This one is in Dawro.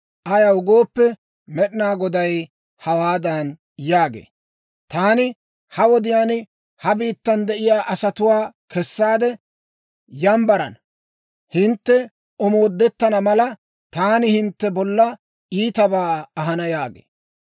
Ayaw gooppe, Med'inaa Goday hawaadan yaagee; «Taani ha wodiyaan ha biittan de'iyaa asatuwaa kessaade yambbarana. Hintte omoodettana mala, taani hintte bolla iitabaa ahana» yaagee.